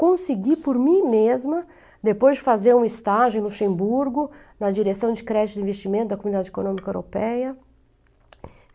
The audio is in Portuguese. Consegui por mim mesma, depois de fazer um estágio em Luxemburgo, na direção de crédito de investimento da Comunidade Econômica Europeia.